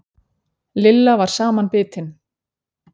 Lilla var samanbitin.